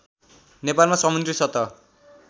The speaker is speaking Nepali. नेपालमा समुद्री सतह